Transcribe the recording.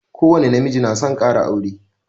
Ko wani na miji na son kara aure